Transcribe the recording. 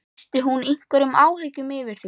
Lýsti hún einhverjum áhyggjum yfir því?